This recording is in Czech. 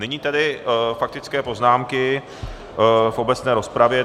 Nyní tedy faktické poznámky v obecné rozpravě.